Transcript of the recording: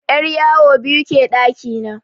'Yaryawo biyu ke ɗaki na.